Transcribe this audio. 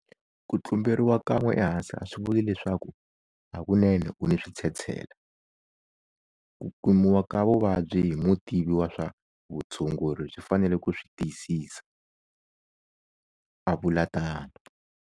Ku tlumberiwa kan'we ehansi a swi vuli leswaku hakunene u ni switshetshela. Ku kumiwa ka vuvabyi hi mutivi wa swa vutshunguri swi fanele ku swi tiyisisa, a vula tano.